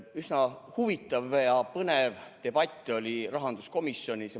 Üsna huvitav ja põnev debatt oli rahanduskomisjonis.